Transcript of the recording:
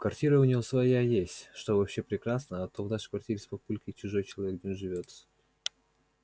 квартира у него своя есть что вообще прекрасно а то в нашей квартире с папулькой чужой человек не уживётся